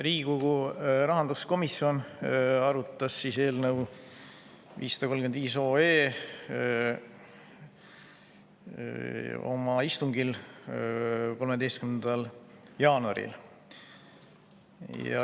Riigikogu rahanduskomisjon arutas eelnõu 535 oma istungil 13. jaanuaril.